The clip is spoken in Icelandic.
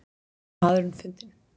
Maðurinn fundinn